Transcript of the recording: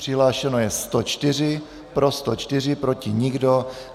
Přihlášeno je 104, pro 104, proti nikdo.